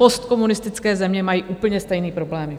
Postkomunistické země mají úplně stejné problémy.